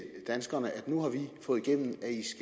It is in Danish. danskerne at nu har vi fået igennem